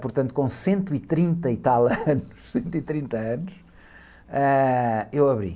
portanto com cento e trinta e tal anos, cento e trinta anos, ãh, eu abri.